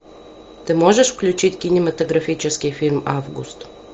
ты можешь включить кинематографический фильм август